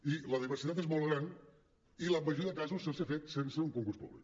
i la diversitat és molt gran i en la majoria de casos s’ha fet sense un concurs públic